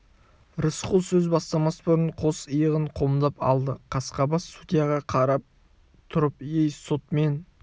рысқұл сөз бастамас бұрын қос иығын қомдап алды қасқабас судьяға ғана қарап тұрып ей сот мен